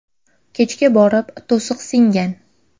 Kechga borib to‘siq singan.